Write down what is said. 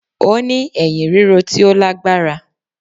Ó ní èyìn ríro tí ó lágbára